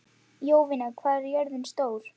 Jovina, hvað er jörðin stór?